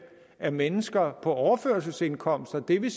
af mennesker på overførselsindkomster og det vil